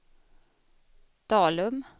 Dalum